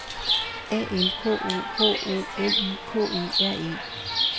A L K O H O L I K E R E